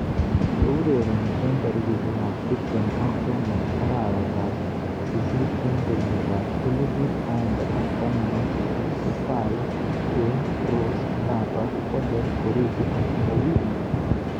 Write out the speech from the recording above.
Cheurereni eng tarikishek ab tip tem ak somok arawet ab sisit eng kenyit ab elipu aeng ak taman ak sisit ko Salah, Kane, Rose, Navas, foden, origi ak Mourinho.